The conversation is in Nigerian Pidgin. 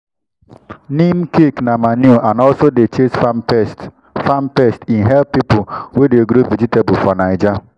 neem cake na manure and also dey chase farm pests farm pests e help people wey dey grow vegetable for naija